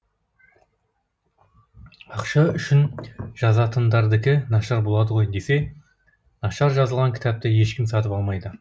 ақша үшін жазатындардікі нашар болады ғой десе нашар жазылған кітапты ешкім сатып алмайды